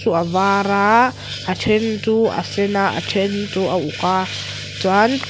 chu a var a a then chu a sen a a then chu a uk a chuan --